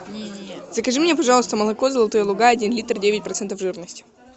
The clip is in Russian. закажи мне пожалуйста молоко золотые луга один литр девять процентов жирности